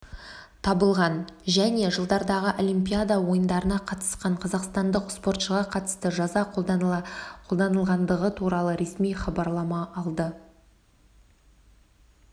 табылған және жылдардағы олимпиада ойындарына қатысқан қазақстандық спортшыға қатысты жаза қолданылғандығы туралы ресми хабарлама алды